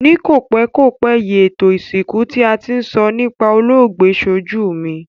Ni kòpékòpé yi, ètò ìsìnkú ti a ti n so nipa olóògbé sojú mi